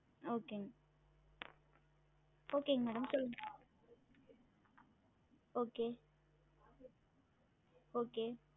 Okay ங்க okay ங்க madam சொல்லுங்க okay okay